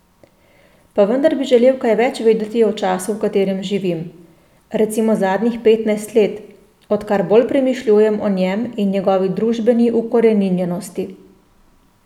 Pa vendar bi želel kaj več vedeti o času, v katerem živim, recimo zadnjih petnajst let, odkar bolj premišljujem o njem in njegovi družbeni ukoreninjenosti.